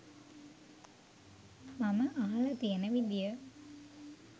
මම අහල තියන විදිය